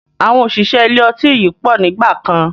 Àwọn òṣìṣẹ́ ilé ọtí yìí pọ̀ nígbàkan